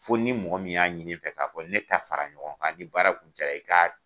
Fo ni mɔgɔ min y'a ɲini n fɛ k'a fɔ ne ta fara ɲɔgɔn kan ni baara jara i ka